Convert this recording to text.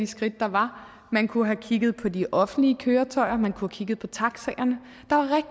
skridt der var at tage man kunne have kigget på de offentlige køretøjer man kunne have kigget på taxaerne